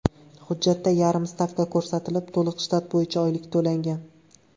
Hujjatda yarim stavka ko‘rsatilib, to‘liq shtat bo‘yicha oylik to‘langan.